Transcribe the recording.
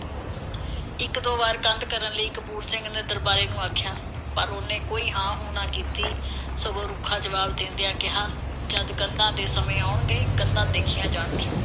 ਇਕ ਦੋ ਵਾਰ ਕੰਧ ਕਰਨ ਲਈ ਕਪੂਰ ਸਿੰਘ ਨੇ ਦਰਬਾਰੇ ਨੂੰ ਆਖਿਆ। ਪਰ ਉਹਨੈ ਕੋਈ ਹਾਂ ਹੂੰ ਨਾ ਕੀਤੀ, ਸਗੋਂ ਰੁੱਖਾ ਜਵਾਬ ਦੇਂਦਿਆਂ ਕਿਹਾ, ਜਦ ਕੰਧਾਂ ਦੇ ਸਮੇਂ ਆਉਣਗੇ, ਕੰਧਾਂ ਦੇਖੀਆਂ ਜਾਣਗੀਆਂ।